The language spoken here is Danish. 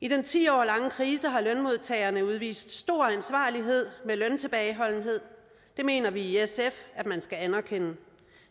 i den ti år lange krise har lønmodtagerne udvist stor ansvarlighed med løntilbageholdenhed det mener vi i sf at man skal anerkende